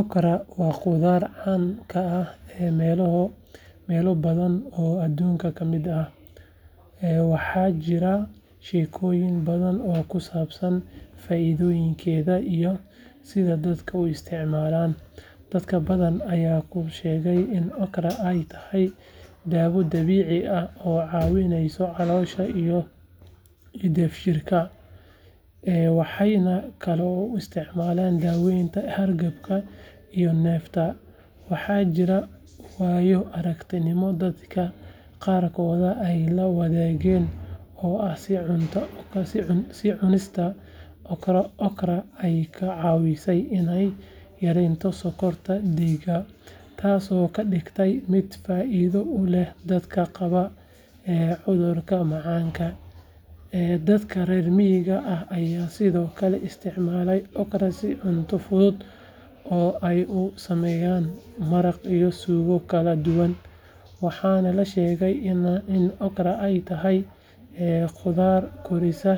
Okra waa khudrad caan ka ah meelo badan oo adduunka ka mid ah, waxaana jira sheekooyin badan oo ku saabsan faa’iidooyinkeeda iyo sida dadku u isticmaalaan. Dad badan ayaa ku sheegay in okra ay tahay daawo dabiici ah oo ka caawisa caloosha iyo dheefshiidka, waxayna kaloo u isticmaalaan daaweynta hargabka iyo neefta. Waxaa jira waayo-aragnimooyin dadka qaarkood ay la wadaageen oo ah in cunista okra ay ka caawisay inay yareeyaan sonkorta dhiigga, taasoo ka dhigaysa mid faa’iido u leh dadka qaba cudurka macaanka. Dadka reer miyiga ah ayaa sidoo kale isticmaalay okra sida cunto fudud oo ay ka sameeyaan maraq iyo suugo kala duwan, waxaana la sheegay in okra ay tahay khudrad korisa